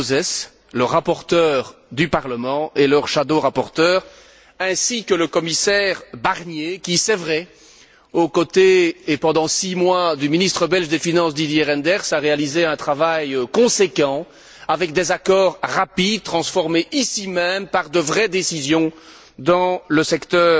Gauzès, le rapporteur du Parlement et leur shadow rapporteur, ainsi que le commissaire Barnier qui, c'est vrai, aux côtés, pendant six mois, du ministre belge des finances Didier Reynders, a réalisé un travail conséquent, avec des accords rapides, transformés ici même par de vraies décisions dans le secteur